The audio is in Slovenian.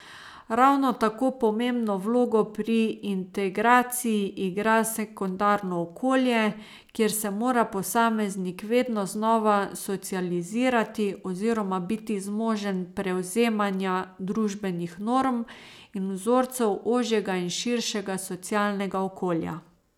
Ravno tako pomembno vlogo pri integraciji igra sekundarno okolje, kjer se mora posameznik vedno znova socializirati oziroma biti zmožen prevzemanja družbenih norm in vzorcev ožjega in širšega socialnega okolja.